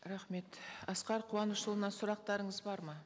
рахмет асқар қуанышұлына сұрақтарыңыз бар ма